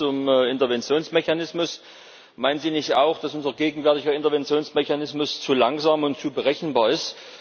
Erstens zum Interventionsmechanismus Meinen Sie nicht auch, dass unser gegenwärtiger Interventionsmechanismus zu langsam und zu berechenbar ist?